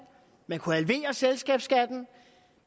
man kunne halvere selskabsskatten